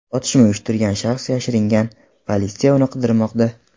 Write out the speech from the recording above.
Otishma uyushtirgan shaxs yashiringan, politsiya uni qidirmoqda.